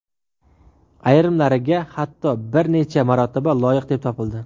Ayrimlariga hatto bir necha marotaba loyiq deb topildi.